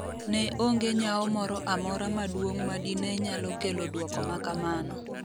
ne onge nyao moro amora maduong' madine nyalo kelo dwoko makamano